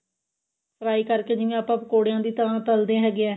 fry ਕਰਕੇ ਜਿਵੇਂ ਆਪਾਂ ਪਕੋੜਿਆ ਦੀ ਤਰ੍ਹਾਂ ਤਲਦੇ ਹੈਗੇ ਆ